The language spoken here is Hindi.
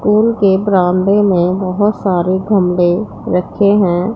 स्कूल के बरामदे में बहोत सारे गमले रखे हैं।